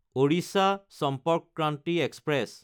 Odisha Sampark Kranti express